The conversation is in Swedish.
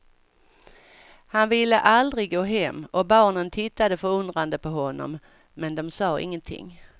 Han ville aldrig gå hem och barnen tittade förundrade på honom, men de sa ingenting.